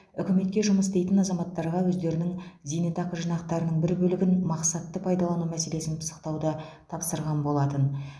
үкіметке жұмыс істейтін азаматтарға өздерінің зейнетақы жинақтарының бір бөлігін мақсатты пайдалану мәселесін пысықтауды тапсырған болатын